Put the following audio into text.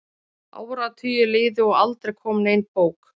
Áratugir liðu og aldrei kom nein bók.